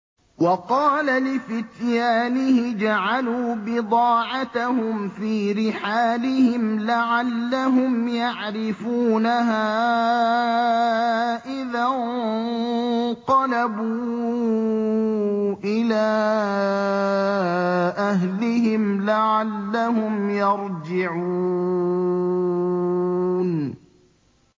وَقَالَ لِفِتْيَانِهِ اجْعَلُوا بِضَاعَتَهُمْ فِي رِحَالِهِمْ لَعَلَّهُمْ يَعْرِفُونَهَا إِذَا انقَلَبُوا إِلَىٰ أَهْلِهِمْ لَعَلَّهُمْ يَرْجِعُونَ